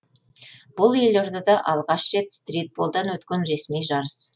бұл елордада алғаш рет стритболдан өткен ресми жарыс